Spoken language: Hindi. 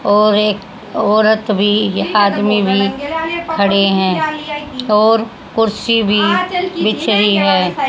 और एक औरत भी या आदमी भी खड़े हैं और कुर्सी भी बिछ रही है।